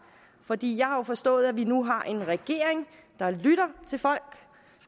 fordi jeg har jo forstået at vi nu har en regering der lytter til folk